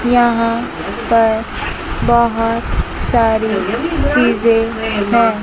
यहां पर बहोत सारी चीजे हैं।